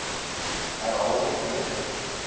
herhaal net weer